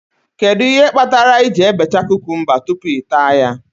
Kedụ ihe kpatara I ji ebecha kukumba tupu ị taa ya?